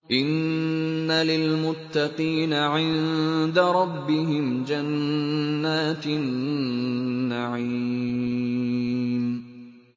إِنَّ لِلْمُتَّقِينَ عِندَ رَبِّهِمْ جَنَّاتِ النَّعِيمِ